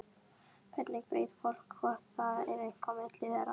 Hvernig veit fólk hvort það er eitthvað á milli þeirra?